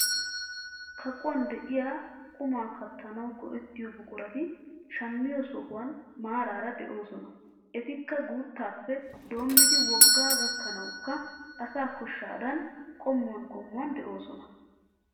Kaquwaan de'iyaa qumaa kattanawu go"ettiyoo buqurati shammiyoo sohuwaan maarara de'oosona etikka guuttappe doommidi woggaa gakkanawukka asaa koshshaadan qommuwaan qommuwaan de'ooosona.